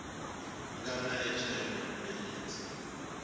nga na hiv kumbe aids